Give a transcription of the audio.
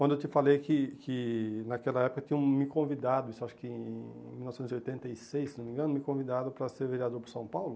Quando eu te falei que que naquela época tinham me convidado, isso acho que em mil novecentos e oitenta e seis, se não me engano, me convidaram para ser vereador por São Paulo.